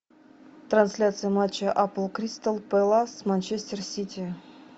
трансляция матча апл кристал пэлас с манчестер сити